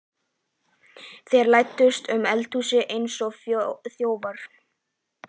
Þeir læddust um eldhúsið eins og þjófar.